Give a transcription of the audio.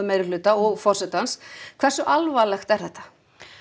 meirihluta og forsetans hversu alvarlegt er þetta